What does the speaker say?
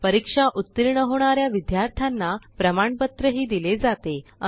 परीक्षा उत्तीर्ण होणा या विद्यार्थ्यांना प्रमाणपत्रही दिले जाते